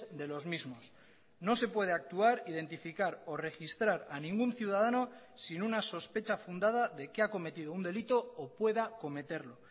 de los mismos no se puede actuar identificar o registrar a ningún ciudadano sin una sospecha fundada de que ha cometido un delito o pueda cometerlo